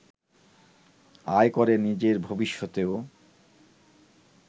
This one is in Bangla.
আয় করে নিজের ভবিষ্যতও